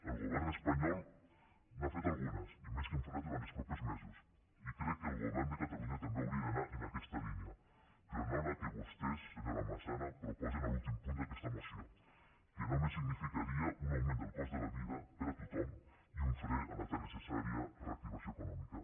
el govern espanyol n’ha fet algunes i més que en farà durant els propers mesos i crec que el govern de catalunya també hauria d’anar en aquesta línia però no en la que vostès senyora massana proposen a l’últim punt d’aquesta moció que només significaria un augment del cost de la vida per a tothom i un fre a la tan necessària reactivació econòmica